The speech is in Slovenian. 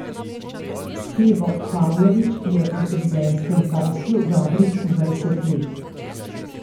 Stevo Pavlović je v frizerskem poslu dobrih dvajset let.